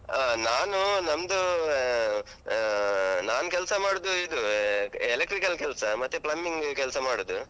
ಆಹ್ ನಾನು ನಮ್ದು ಆಹ್ ಆಹ್ ನಾನ್ ಕೆಲ್ಸ ಮಾಡುದು ಇದು electrical ಕೆಲ್ಸ ಮತ್ತೆ plumbing ಕೆಲ್ಸ ಮಾಡುದು.